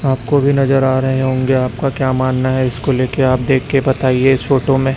आपको भी नजर आ रहे होंगे आपका क्या मानना है इसको लेके आप देख के बताइए इस फोटो में।